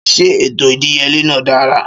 Ṣé ètò ìdíyelé náà dára